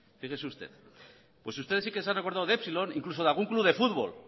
fíjese usted ustedes sí que se han acordado de epsilon incluso de algún club de fútbol